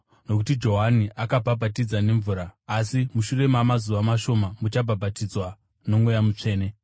Nokuti Johani akabhabhatidza nemvura, asi mushure mamazuva mashoma muchabhabhatidzwa noMweya Mutsvene.”